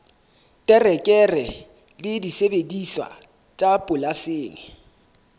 terekere le disebediswa tsa polasing